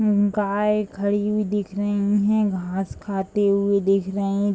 उम्म गाय खड़ी हुई दिख रही है घास खाते हुए दिख रही है।